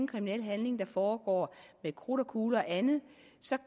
kriminel handling der foregår med krudt og kugler og andet